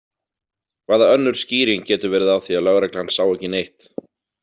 Hvaða önnur skýring getur verið á því að lögreglan sá ekki neitt?